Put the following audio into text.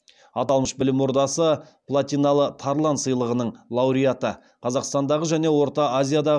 аталмыш білім ордасы платиналы тарлан сыйлығының лауреаты қазақстандағы және орта азияда